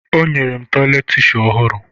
O nyere m tishu tọyịleetị ọhụrụ